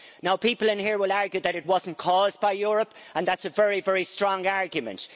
Now people here will argue that it wasn't caused by Europe, and that's a very, very strong argument.